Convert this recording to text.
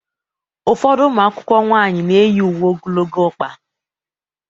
Ụfọdụ ụmụ akwụkwọ nwanyị na-eyi uwe ogologo ọkpa